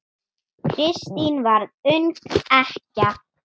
Kristín varð ung ekkja.